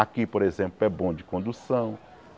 Aqui, por exemplo, é bom de condução.